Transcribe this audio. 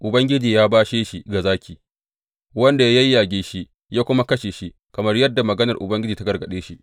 Ubangiji ya bashe shi ga zaki, wanda ya yayyage shi ya kuma kashe shi, kamar yadda maganar Ubangiji ta gargaɗe shi.